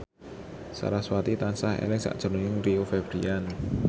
sarasvati tansah eling sakjroning Rio Febrian